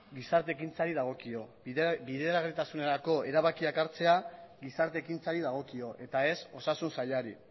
gizarte ekintzari dagokio bideragarritasunerako erabakiak hartzea gizarte ekintzari dagokio eta ez osasun sailari